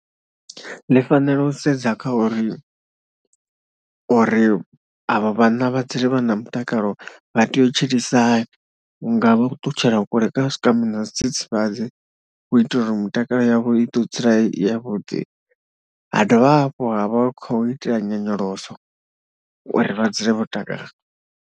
Ndi fanela u sedza kha uri, uri avho vhanna vha dzule vha na mutakalo vha tea u tshilisa hani, vhunga vha khou ṱutshela kule kha zwikambi na zwidzidzivhzadzi u itela uri mitakalo yavho i ḓo dzula i yavhuḓi. Ha dovha hafhu ha vha khou ita nyonyoloso uri vha dzule vho takala.